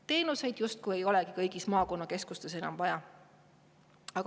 Teenuseid justkui ei olegi kõigis maakonnakeskustes enam vaja.